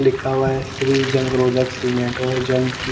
लिखा हुआ है श्री जंग रोधक सीमेंट और जंग की--